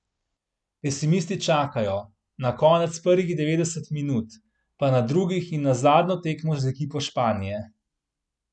Pesimisti čakajo, na konec prvih devetdeset minut, pa na drugih in na zadnjo tekmo z ekipo Španije.